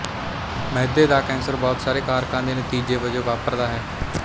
ਮਿਹਦੇ ਦਾ ਕੈਂਸਰ ਬਹੁਤ ਸਾਰੇ ਕਾਰਕਾਂ ਦੇ ਨਤੀਜੇ ਵਜੋਂ ਵਾਪਰਦਾ ਹੈ